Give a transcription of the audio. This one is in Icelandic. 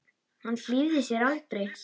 Hann hlífði sér aldrei.